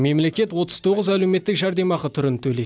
мемлекет отыз тоғыз әлеуметтік жәрдемақы түрін төлейді